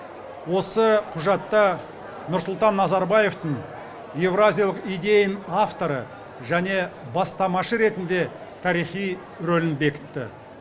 осы құжатта нұрсұлтан назарбаевтың еуразиялық идеяның авторы және бастамашы ретінде тарихи рөлін бекітті